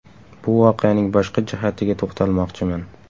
Bu voqeaning boshqa jihatiga to‘xtalmoqchiman.